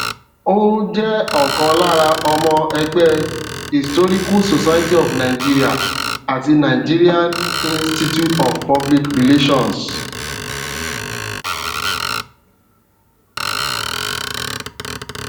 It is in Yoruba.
ó jẹ ọkan lára ọmọ ẹgbẹ historical society of nigeria ati nigerian institute of public relations